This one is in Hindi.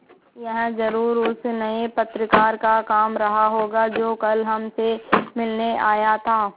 यह ज़रूर उस नये पत्रकार का काम रहा होगा जो कल हमसे मिलने आया था